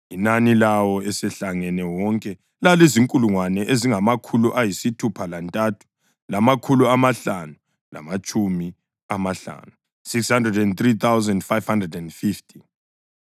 Inani lawo esehlangene wonke lalizinkulungwane ezingamakhulu ayisithupha lantathu, lamakhulu amahlanu, lamatshumi amahlanu (603,550).